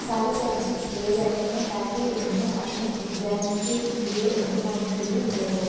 सारे सब्जेक्ट्स लिए जाते हैं ताकि उन्हें अपने एग्जाम के लिए इम्तिहान के लिए मदद हो |